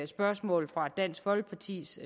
spørgsmål fra dansk folkepartis